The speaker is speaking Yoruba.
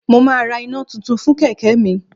Mo máa ra iná tuntun fún kẹ̀kẹ́ mi